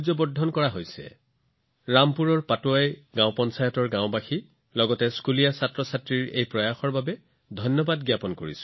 এই প্ৰচেষ্টাৰ বাবে মই ৰামপুৰৰ পাটৱাই গ্ৰাম পঞ্চায়ত গাওঁখনৰ লোকসকল তাত থকা শিশুসকলক অভিনন্দন জনাইছো